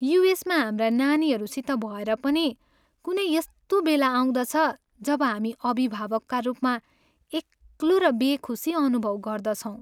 युएसमा हाम्रा नानीहरूसित भएर पनि कुनै यस्तो बेला आउँदछ जब हामी अभिभावकका रूपमा एक्लो र बेखुसी अनुभव गर्दछौँ।